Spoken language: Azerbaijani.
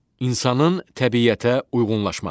İnsanın təbiətə uyğunlaşması.